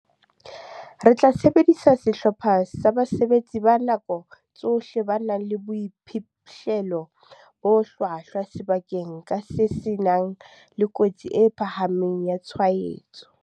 "Re tla sebedisa sehlopha sa basebetsi ba nako tsohle ba nang le boiphihlelo bo hlwahlwa sebakeng ka seng se nang le kotsi e phahameng ya tshwaetso."